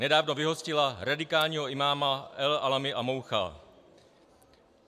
Nedávno vyhostila radikálního imáma El Alami Amaoucha.